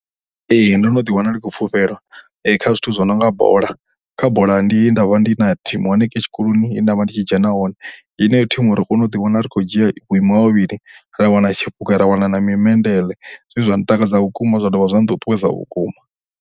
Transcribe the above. Ee, ndo no ḓiwana ndi tshi khou pfhufhelwa kha zwithu zwi no nga bola, kha bola ndi he nda vha ndi na thimu hanengei tshikoloni he nda vha ndi tshi dzhena hone. Heneyi thimu ro kona u ḓiwana ri tshi khou dzhia vhuimo ha vhavhili ra wana tshiphunga ra wana na mimendeḽe zwe zwa ntakadza vhukuma zwa dovha zwa nṱuṱuwedza vhukuma.